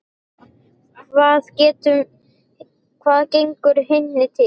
Hvað gengur henni til?